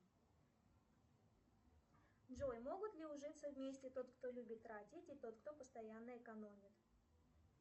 джой могут ли ужиться вместе тот кто любит тратить и тот кто постоянно экономит